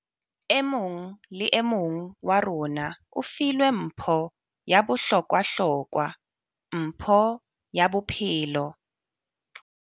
E mong le e mong wa rona o filwe mpho ya bohlokwahlokwa - mpho ya bophelo.